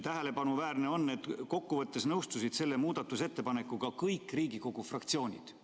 Tähelepanuväärne on, et kokkuvõttes nõustusid selle muudatusettepanekuga kõik Riigikogu fraktsioonid.